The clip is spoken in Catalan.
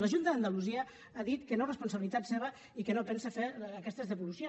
la junta d’andalusia ha dit que no és responsabilitat seva i que no pensa fet aquestes devolucions